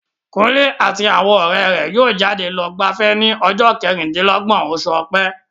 Kunle àti àwọn ọ̀rẹ́ rẹ̀ yóò jáde lọ gbafẹ́ ní ọjọ́ kẹrìndínlọ́gbọ̀n oṣù ọ̀pẹ.